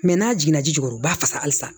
n'a jiginna ji ji kɔnɔ u b'a fasa halisa